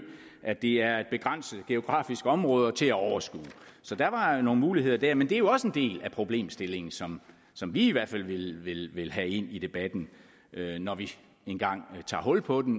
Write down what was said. at det er et begrænset geografisk område til at overskue så der var jo nogle muligheder der men det er jo også en del af problemstillingen som som vi i hvert fald vil vil have ind i debatten når vi engang tager hul på den